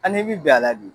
An'i bi don a la bi